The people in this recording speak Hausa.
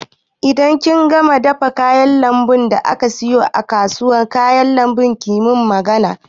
Idan kin dafa kayan lambun da aka siyo daga kasuwar kayan lambu ki min magana